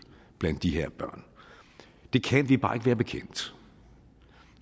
blandt de her børn det kan vi bare ikke være bekendt